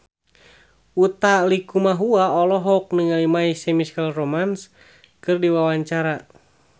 Utha Likumahua olohok ningali My Chemical Romance keur diwawancara